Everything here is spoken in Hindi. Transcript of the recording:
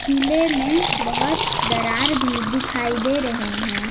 किले में बहोत दरार भी दिखाई दे रहे हैं।